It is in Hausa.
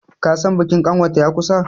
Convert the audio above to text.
kasan bikin kanwarta ya kusa!